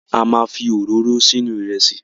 A ma fi òróró sínú Ìrẹ́sì